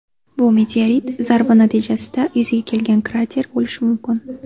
Bu meteorit zarbi natijasida yuzaga kelgan krater bo‘lishi mumkin.